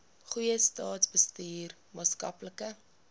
goeie staatsbestuur maatskaplike